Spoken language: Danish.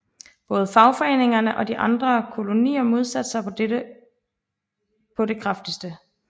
Både fagforeningerne og de andre kolonier modsatte sig dette på det kraftigste